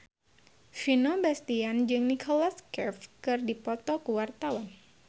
Vino Bastian jeung Nicholas Cafe keur dipoto ku wartawan